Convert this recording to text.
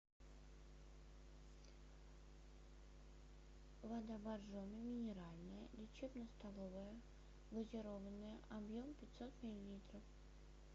вода боржоми минеральная лечебно столовая газированная объем пятьсот миллилитров